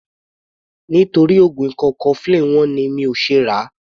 Nítorí oògùn ikọ́ cofflin wọ́n ni mi ò ṣe ràá.